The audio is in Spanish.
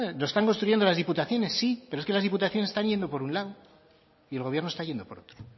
lo están construyendo las diputaciones sí pero es que las diputaciones están yendo por un lado y el gobierno está yendo por otro